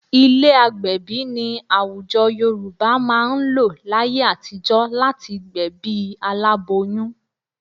Ilé agbẹ̀bí ni àwùjọ Yorùbá máa ń lò láyé àtijọ́ láti gbẹ̀bí aláboyún